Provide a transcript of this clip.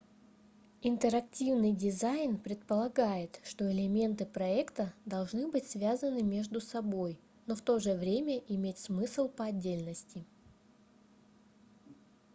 интерактивный дизайн предполагает что элементы проекта должны быть связаны между собой но в то же время иметь смысл по отдельности